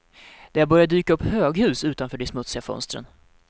Det har börjat dyka upp höghus utanför de smutsiga fönstren.